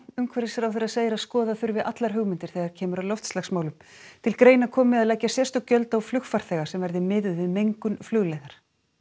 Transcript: umhverfisráðherra segir að skoða þurfi allar hugmyndir þegar kemur að loftslagsmálum til greina komi að leggja sérstök gjöld á flugfarþega sem verði miðuð við mengun flugleiðar